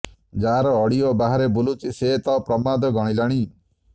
ଯାହାର ଅଡିଓ ବାହାରେ ବୁଲୁଛି ସେ ତ ପ୍ରମାଦ ଗଣିଲାଣି